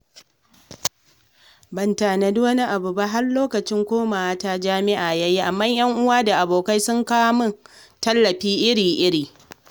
Ban tanadi wani abu ba, har lokacin komawata jami'a ya yi, amma 'yan uwa da abokai sun kawo min tallafi iri-iri.